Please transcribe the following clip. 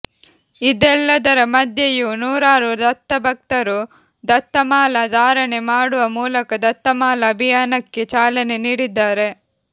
ಇದೆಲ್ಲದರ ಮಧ್ಯೆಯೂ ನೂರಾರು ದತ್ತಭಕ್ತರು ದತ್ತಮಾಲಾ ಧಾರಣೆ ಮಾಡುವ ಮೂಲಕ ದತ್ತಮಾಲಾ ಅಭಿಯಾನಕ್ಕೆ ಚಾಲನೆ ನೀಡಿದ್ದಾರೆ